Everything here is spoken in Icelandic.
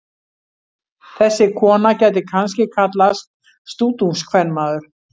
Þessi kona gæti kannski kallast stútungskvenmaður.